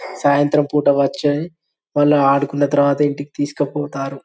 సాయంత్రం పూట వచ్చి వాళ్లు ఆడుకున్న తర్వాత ఇంటికి తీసుకుపోతారు.